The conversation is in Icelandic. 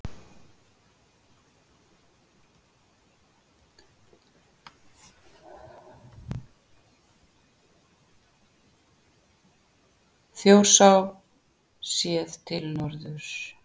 Þjórsá séð til norðurs.